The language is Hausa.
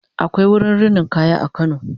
akwai wurin rinin kaya a kano